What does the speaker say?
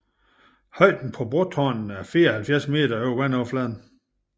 Højden på brotårnene er 74 m over vandoverfladen